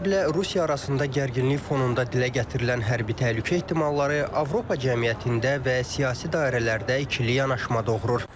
Qərblə Rusiya arasında gərginlik fonunda dilə gətirilən hərbi təhlükə ehtimalları Avropa cəmiyyətində və siyasi dairələrdə ikili yanaşma doğurur.